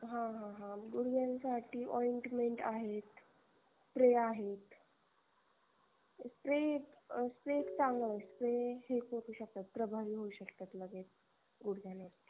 हा हा हा गुडग्यानसाठी ointment आहेत spray आहेत spray च चांगला spray हे पोचू शकतात प्रभावी हू शकतात लगेच गुढग्यांवर